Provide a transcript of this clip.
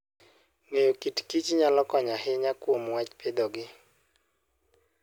Ng'eyo kit Kich nyalo konyo ahinya kuom wach pidhogi.